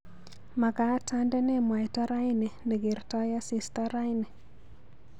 Magaat andene mwaita raini negertoi asista raini